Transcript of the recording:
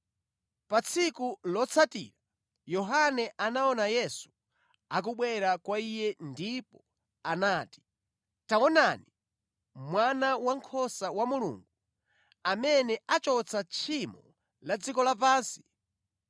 Pa tsiku lotsatira Yohane anaona Yesu akubwera kwa iye ndipo anati, “Taonani, Mwana Wankhosa wa Mulungu, amene achotsa tchimo la dziko lapansi!